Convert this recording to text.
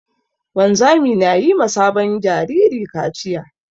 Wanzami na yi ma sabon jariri kaciya.